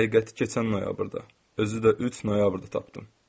Həqiqəti keçən noyabrda, özü də 3 noyabrda tapdım.